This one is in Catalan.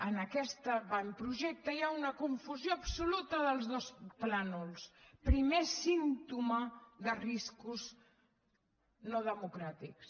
en aquest avantprojecte hi ha una confusió absoluta dels dos plans primer símptoma de riscos no democràtics